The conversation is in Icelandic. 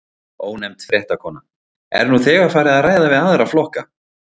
Ónefnd fréttakona: Er nú þegar farið að ræða við aðra flokka?